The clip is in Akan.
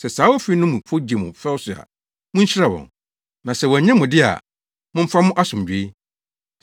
Sɛ saa ofi no mufo gye mo fɛw so a, munhyira wɔn, na sɛ wɔannye mo de a, momfa mo asomdwoe.